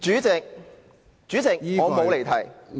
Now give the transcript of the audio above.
主席，我沒有離題。